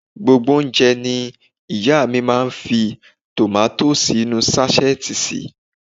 Gbogbo oúnjẹ ní ìyá à mi máa ń fi tòmátósì inú ú sáṣẹ́ẹ̀tì sè